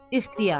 İxtiyar.